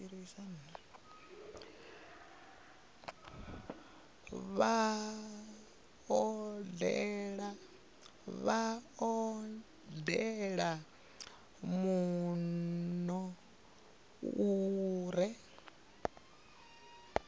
vha odele muno u re